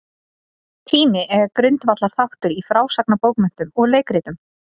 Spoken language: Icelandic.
Tími er grundvallarþáttur í frásagnarbókmenntum og leikritum.